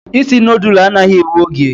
isi nudulu anaghị ewe oge